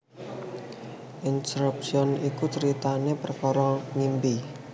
Inception iku caritané perkara ngimpi